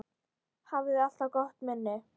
Hafði alltaf gott minni.